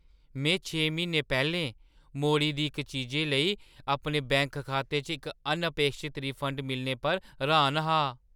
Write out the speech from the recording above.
में छे म्हीने पैह्‌लें मोड़ी दी इक चीजे लेई अपने बैंक खाते च इक अनअपेक्षत रिफंड मिलने पर र्‌हान हा।